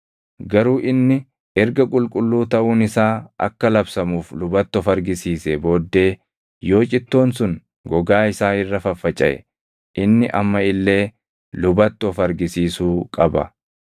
Garuu inni erga qulqulluu taʼuun isaa akka labsamuuf lubatti of argisiisee booddee yoo cittoon sun gogaa isaa irra faffacaʼe inni amma illee lubatti of argisiisuu qaba.